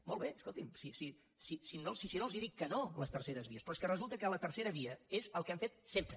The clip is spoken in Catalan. molt bé escolti’m si no els dic que no a les terceres vies però és que resulta que la tercera via és el que hem fet sempre